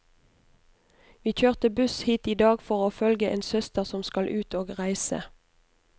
Vi kjørte buss hit i dag for å følge en søster som skal ut og reise.